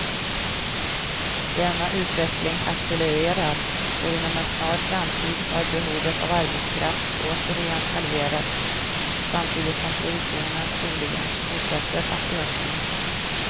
Denna utveckling accelererar och inom en snar framtid har behovet av arbetskraft återigen halverats samtidigt som produktionen troligen fortsätter att öka.